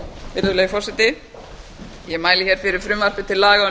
virðulegi forseti ég mæli fyrir frumvarpi til laga